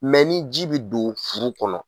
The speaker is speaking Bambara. ni ji bɛ don furu kɔnɔ.